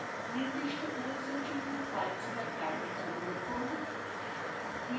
নির্দিষ্ট os এর জন্য filezilla client download করুন